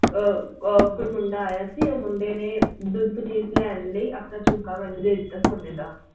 ਅਹ ਅਹ ਕੋਈ ਮੁੰਡਾ ਆਇਆ ਸੀ ਉਹ ਮੁੰਡੇ ਨੇ ਦੁੱਧ ਲੈਣ ਲਈ ਆਪਣਾ ਝੁਮਕਾ ਮੈਨੂੰ ਦੇ ਦਿੱਤਾ ਸੋਨੇ ਦਾ।